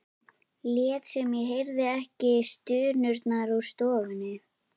Lét sem ég heyrði ekki stunurnar úr stofunni.